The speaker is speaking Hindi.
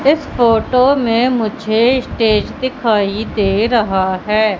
इस फोटो में मुझे स्टेज दिखाई दे रहा है।